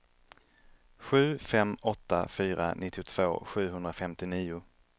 sju fem åtta fyra nittiotvå sjuhundrafemtionio